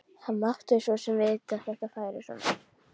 Hann mátti svo sem vita að þetta færi svona.